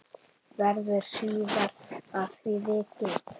Verður síðar að því vikið.